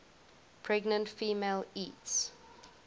pregnant female eats